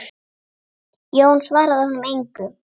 Jón svaraði honum engu.